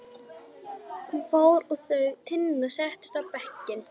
Hún fór og þau Tinna settust á bekkinn.